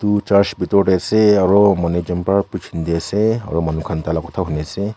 church bitor tae ase aro manu ekjon pra preaching diase aro manu khan tai la khota huniase.